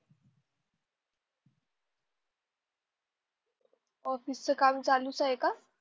office च काम चालूच आहे का